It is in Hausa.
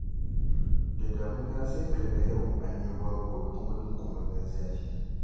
Da damuna sai kaga yau an yi ruwa gobe kuma dunkumammen zafi.